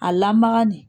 A lamaga nin